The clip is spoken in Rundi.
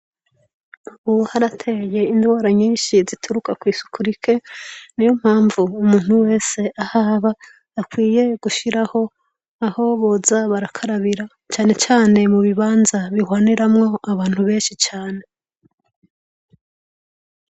Ubu harateye indwara nyinshi zituruka kw’isuku rike, niyo mpamvu umuntu wese ahaba akwiye gushiraho aho boza barakarabira cane cane mubibanza bihwaniramwo abantu benshi cane.